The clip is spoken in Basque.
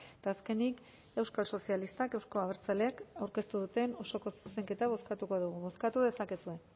eta azkenik euskal sozialistak euzko abertzaleak aurkeztu duten osoko zuzenketa bozkatuko dugu bozkatu dezakegu